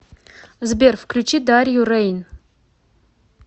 сбер включи дарью рэйн